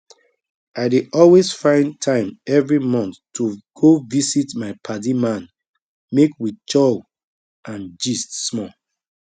i dey always find time every month to go visit my padi man make we chow and gist small